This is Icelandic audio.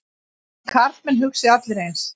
Þið karlmenn hugsið allir eins.